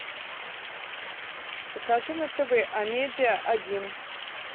покажи на тв амедиа один